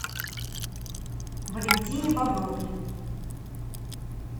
валентине бобровой